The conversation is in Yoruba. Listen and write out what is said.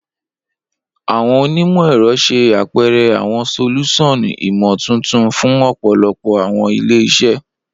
Awọn onimọ-ẹrọ ṣe apẹrẹ awọn solusan imotuntun fun ọpọlọpọ awọn ile-iṣẹ.